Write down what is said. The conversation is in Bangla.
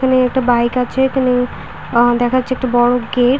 এখানে একটা বাইক আছে। এখানে আ দেখাচ্ছে একটা বড়ো গেট --